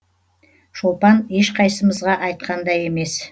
шолпан ешқайсымызға айтқан да емес